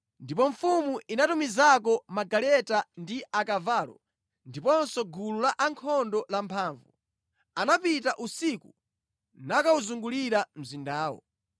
Ndipo mfumu inatumizako magaleta ndi akavalo ndiponso gulu lankhondo lamphamvu. Anapita usiku nakawuzungulira mzindawo.